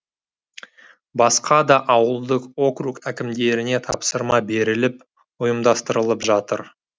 басқа да ауылдық округ әкімдеріне тапсырма беріліп ұйымдастырылып жатыр